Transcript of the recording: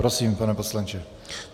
Prosím, pane poslanče.